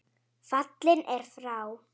Fallinn er frá.